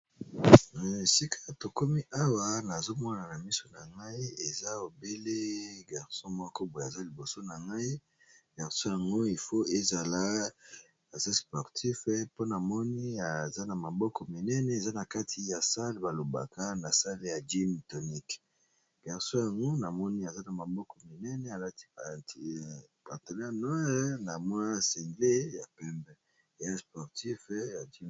Sika tokomi ,awa nazomona na miso na ngai eza obele mobali moko boye aza liboso na ngai , mobali yango azali na esika basalelaka sport, alati ekoti ya mwindu ,na elemba ya likolo ya pembe ,na se pembe pe na mwindu, na sima naye ,ba mashini ya sport.